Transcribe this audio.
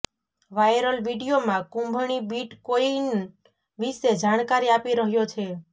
viral વીડિયોમાં Kumbhani bitcoin વિશે જાણકારી આપી રહ્યો છે